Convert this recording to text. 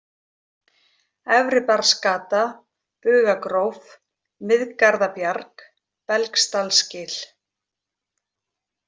Efri-Barðsgata, Bugagróf, Miðgarðabjarg, Belgsdalsgil